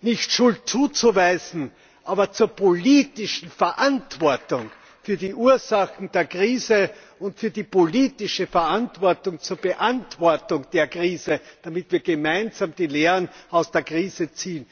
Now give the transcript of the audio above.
Nicht Schuld zuweisen, aber zur politischen Verantwortung für die Ursachen der Krise und für die politische Verantwortung zur Beantwortung der Krise stehen, damit wir gemeinsam die Lehren aus der Krise ziehen.